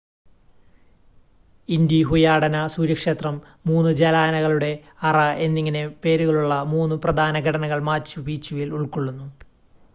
ഇൻ്റിഹുയാടന സൂര്യക്ഷേത്രം മൂന്ന് ജനാലകളുടെ അറ എന്നിങ്ങനെ പേരുകളുള്ള മൂന്ന് പ്രധാന ഘടനകൾ മാച്ചു പീച്ചുവിൽ ഉൾകൊള്ളുന്നു